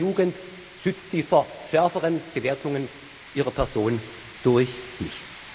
Allein ihre Jugend schützt sie vor schärferen Bewertungen ihrer Person durch